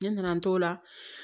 Ne nana n t'o la